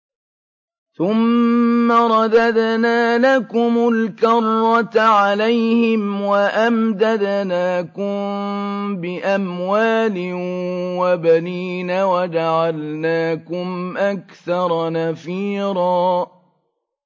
ثُمَّ رَدَدْنَا لَكُمُ الْكَرَّةَ عَلَيْهِمْ وَأَمْدَدْنَاكُم بِأَمْوَالٍ وَبَنِينَ وَجَعَلْنَاكُمْ أَكْثَرَ نَفِيرًا